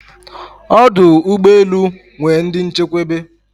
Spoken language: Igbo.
Odụ̀ ụgbe elū nwer ndi nchekweba